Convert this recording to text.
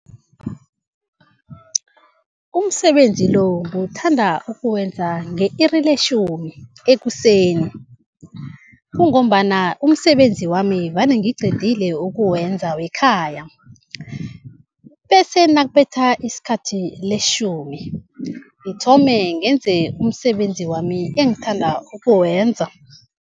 Umsebenzi lo ngiwuthanda ukuwenza nge-iri letjhumi ekuseni, kungombana umsebenzi wami vane ngiqedile ukuwenza wekhaya. Bese nakubetha isikhathi letjhumi ngithome ngenze umsebenzi wami engithanda ukuwenza.